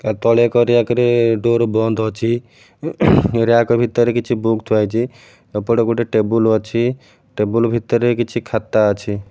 ତା ତଳେ ଏକ ରୟାକ୍ ରେ ଡୋର୍ ବନ୍ଦ ଅଛି ରୟାକ୍ ଭିତରେ କିଛି ବୁକ୍ ଥୁଆହେଇଚି ଏପଟେ ଗୋଟେ ଟେବୁଲ୍ ଅଛି ଟେବୁଲ୍ ଭିତରେ କଛି ଖାତା ଅଛି।